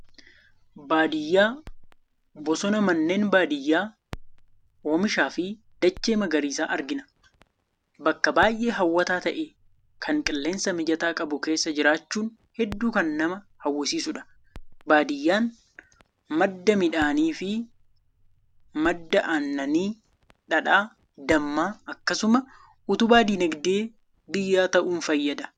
Baadiyyaa, bosona, manneen baadiyyaa, oomisha fi dachee magariisa argina. Bakka baay'ee hawwataa ta'e, kan qilleensa mijataa qabu, keessa jiraachuun hedduu kan nama hawwisiisudha. Baadiyyaan madda midhaanii, madda aannanii, dhadhaa, dammaa akkasumas utubaa diinagdee biyyaa ta'uun fayyada.